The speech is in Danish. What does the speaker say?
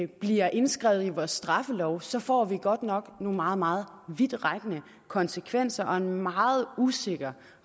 bliver indskrevet i vores straffelov så får vi godt nok nogle meget meget vidtrækkende konsekvenser og en meget usikker